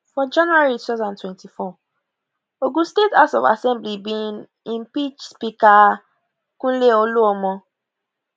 for january 2024 ogun state house of assembly bin impeach speaker kunle oluomo